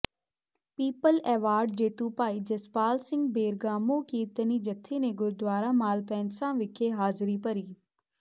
people award ਜੇਤੂ Bhai Jaspal Singh Bergamo ਕੀਰਤਨੀ ਜਥੇ ਨੇ ਗੁਰਦੁਆਰਾ ਮਾਲਪੈਨਸਾਂ ਵਿਖੇ ਹਾਜ਼ਰੀ ਭਰੀ